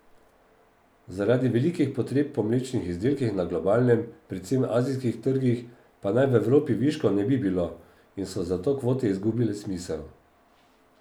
Zaradi velikih potreb po mlečnih izdelkih na globalnem, predvsem azijskih trgih, pa naj v Evropi viškov ne bi bilo, in so zato kvote izgubile smisel.